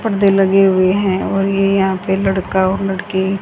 पर्दे लगे हुए हैं और ये यहां पे एक लड़का और लड़की--